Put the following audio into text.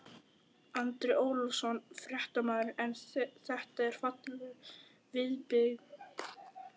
Andri Ólafsson, fréttamaður: En þetta er falleg viðbygging?